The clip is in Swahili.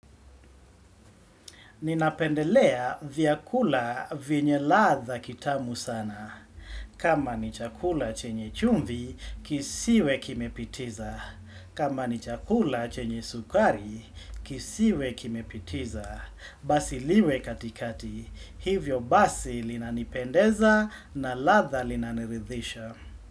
Ninapendelea vyakula venye ladha kitamu sana. Kama ni chakula chenye chumvi, kisiwe kimepitiza. Kama ni chakula chenye sukari, kisiwe kimepitiza. Basi liwe katikati. Hivyo basi linanipendeza na ladha linaniridhisha.